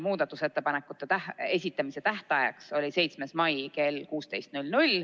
Muudatusettepanekute esitamise tähtaeg oli 7. mai kell 16.